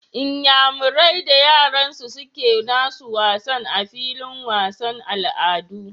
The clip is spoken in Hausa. Inyamurai da yaransu suke nasu wasan a filin wasan al'adu